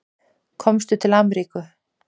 Komstu til Ameríku?